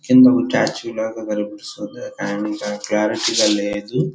కింద ఒక స్టాచ్యులా కనిపిస్తుంది అండ్ క్లారిటీగా లేదు.